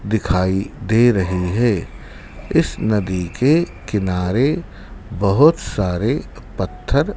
दिखाई दे रहे है इस नदी के किनारे बहुत सारे पत्थर--